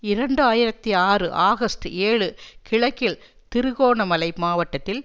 இரண்டு ஆயிரத்தி ஆறு ஆகஸ்ட் ஏழு கிழக்கில் திருகோணமலை மாவட்டத்தில்